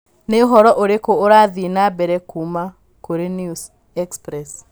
Nĩ ũhoro ũrĩkũ ũrathiĩ na mbere kuuma kũrĩ News Express